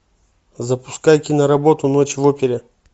запускай киноработу ночь в опере